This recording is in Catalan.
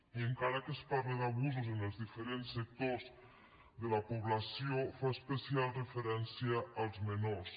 i encara que es parla d’abusos en els diferents sectors de la població fa especial referència als menors